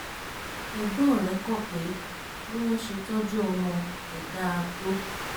egbon re ko pe biwon se toju omo ko da to